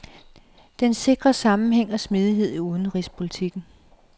Den kan sikre sammenhæng og smidighed i udenrigspolitikken.